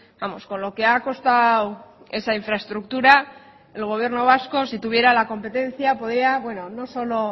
vamos con lo que ha costado esa infraestructura el gobierno vasco si tuviera la competencia podría bueno no solo